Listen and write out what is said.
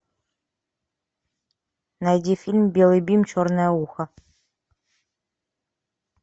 найди фильм белый бим черное ухо